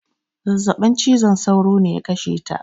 Zazzabin ciwon sauro ne ya kashe ta